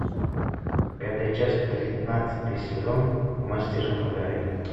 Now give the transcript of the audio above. пятая часть тринадцатый сезон мастер и маргарита